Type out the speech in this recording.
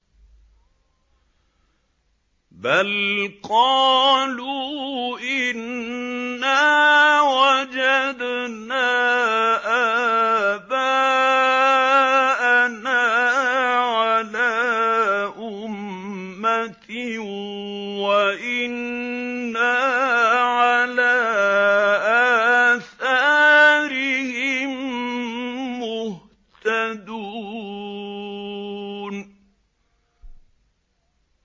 بَلْ قَالُوا إِنَّا وَجَدْنَا آبَاءَنَا عَلَىٰ أُمَّةٍ وَإِنَّا عَلَىٰ آثَارِهِم مُّهْتَدُونَ